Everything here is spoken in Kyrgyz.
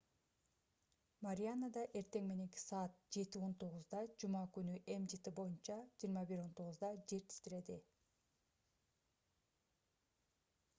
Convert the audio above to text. марианада эртең мененки саат 07:19 жума күнү gmt боюнча 21:19 жер титиреди